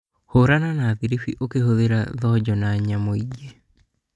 Hũrana na thĩirip ũkĩhuthera thonjo na nyamũ ingĩ